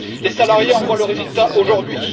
Les salariés en voient le résultat aujourd'hui.